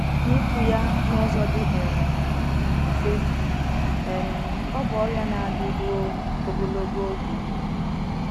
N’ikwu ya n’ụzọ dị um mfe, um ọ bụ ọrịa na - adị rụo ogologo oge